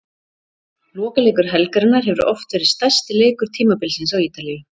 Lokaleikur helgarinnar hefur oft verið stærsti leikur tímabilsins á Ítalíu.